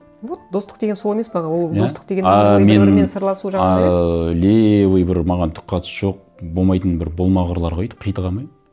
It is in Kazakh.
вот достық деген сол емес пе ол достық деген мен ыыы левый бір маған түк қатысы жоқ болмайтын бір болмағырларға өйтіп қитыға алмаймын